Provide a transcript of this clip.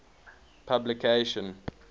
publication